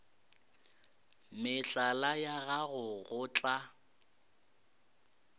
mehlala ya gago go tla